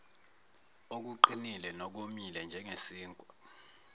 okuqinile nokomile njengesinkwa